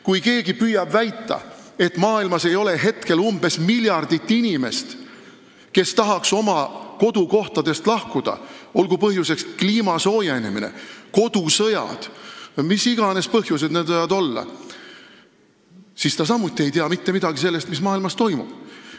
Kui keegi püüab väita, et maailmas ei ole praegu umbes miljard inimest, kes tahaks oma kodukohtadest lahkuda, olgu põhjuseks kliima soojenemine, kodusõjad või mis iganes muud põhjused, siis ta samuti ei tea mitte midagi sellest, mis maailmas toimub.